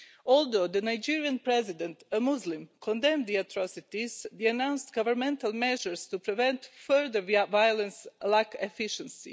Although the Nigerian President, a Muslim, condemned the atrocities, the announced governmental measures to prevent further violence lack efficiency.